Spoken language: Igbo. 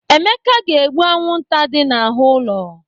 Emeka ga-egbu anwụnta dị n'ahụ ụlọ.